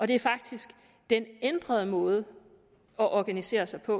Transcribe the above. det er faktisk den ændrede måde at organisere sig på